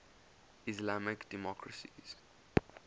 islamic democracies